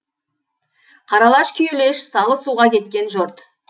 қаралаш күйелеш салы суға кеткен жұрт